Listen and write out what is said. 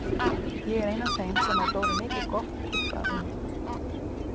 Ég er ein af þeim sem á Dóru mikið gott upp að inna.